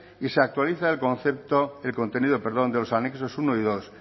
y se actualiza el contenido de los anexos primero y segundo